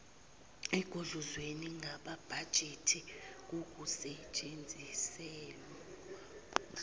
ekugudluzweni kwamabhajethi kukusetshenziselwa